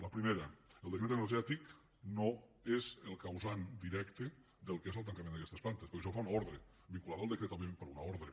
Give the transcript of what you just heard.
la primera el decret energètic no és el causant directe del que és el tancament d’aquestes plantes perquè això ho fa una ordre vinculada al decret òbviament però una ordre